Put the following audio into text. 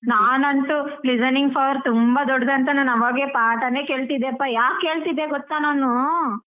ನಾನ್ ಅಂತು listening power ತುಂಬಾ ದೊಡ್ದು ಅಂತ ನಾನ್ ಅವಾಗ್ಲೆ ಪಾಠಾನೆ ಕೇಳ್ತಿದ್ದೆಪಾ ಯಾಕೆ ಕೇಳ್ತಿದ್ದೆ ಗೊತ್ತಾ ನಾನೂ?